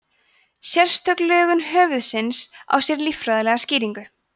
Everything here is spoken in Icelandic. sérstök lögun höfuðsins á sér líffræðilega skýringu